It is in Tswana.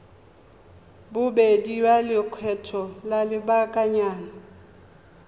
bobedi ya lekgetho la lobakanyana